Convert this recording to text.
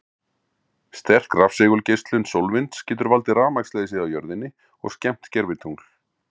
Sterk rafsegulgeislun sólvinds getur valdið rafmagnsleysi á jörðinni og skemmt gervitungl.